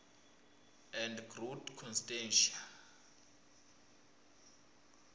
and groot constantia